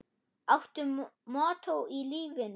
Áttu mottó í lífinu?